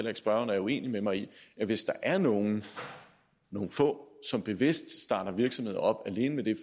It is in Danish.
ikke spørgeren er uenig med mig i at hvis der er nogle få som bevidst starter virksomhed op alene med det